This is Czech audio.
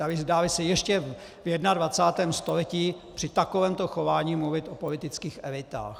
Dá-li se ještě v 21. století při takovémto chování mluvit o politických elitách.